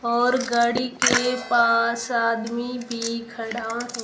और गाड़ी के पास आदमी भी खड़ा है।